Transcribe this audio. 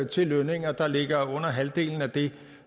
til lønninger der ligger under halvdelen af det